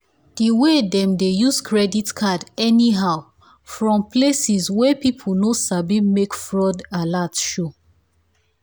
the way them dey use credit card anyhow fron places wey people no sabi make fraud alert show.